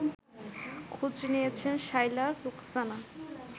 খোঁজ নিয়েছেন শায়লা রুখসানা